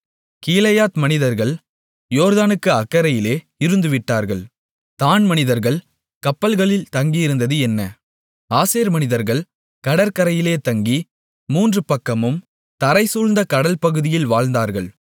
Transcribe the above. கீலேயாத் மனிதர்கள் யோர்தானுக்கு அக்கரையிலே இருந்துவிட்டார்கள் தாண் மனிதர்கள் கப்பல்களில் தங்கியிருந்தது என்ன ஆசேர் மனிதர்கள் கடற்கரையிலே தங்கி மூன்று பக்கமும் தரைசூழ்ந்தகடல் பகுதிகளில் வாழ்ந்தார்கள்